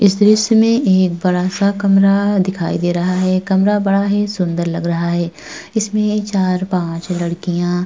इस दृश्य में एक बड़ा सा कमरा दिखाई दे रहा है कमरा बड़ा ही सुंदर लग रहा है इसमें चार पांच लड़कियां --